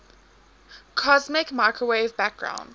cosmic microwave background